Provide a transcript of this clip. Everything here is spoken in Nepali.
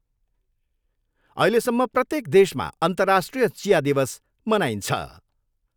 अहिलेसम्म प्रत्येक देशमा अन्तर्राष्ट्रिय चिया दिवस मनाइन्छ।